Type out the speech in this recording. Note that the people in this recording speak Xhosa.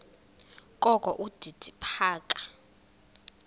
kokho udidi phaka